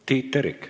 Tiit Terik.